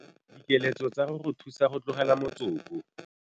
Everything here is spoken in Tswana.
Dikeletso tsa go go thusa go tlogela motsoko.